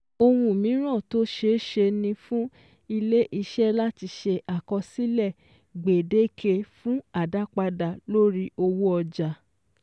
Ohun míràn tó ṣeéṣe ni fún ilé-iṣẹ́ láti ṣe àkọsílẹ̀ gbèdéke fún àdápadà lórí owó ọjà